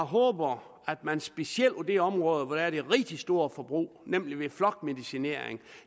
håber at man specielt på det område hvor der er et rigtig stort forbrug nemlig ved flokmedicinering